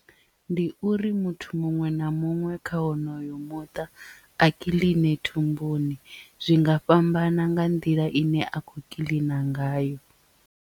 Ndi uri muthu muṅwe na muṅwe kha wonoyo muṱa a kiḽine thumbuni zwi nga fhambana nga nḓila ine a khou kiḽina ngayo.